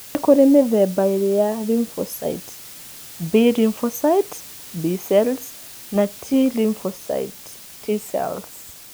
Nĩ kũrĩ mĩthemba ĩĩrĩ ya lymphocyte: B lymphocyte (B cells) na T lymphocyte (T cells).